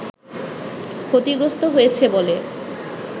ক্ষতিগ্রস্ত হয়েছে বলে